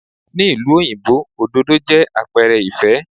Ní ìlú òyìnbó, òdòdó jẹ́ àpẹrẹ ìfẹ́.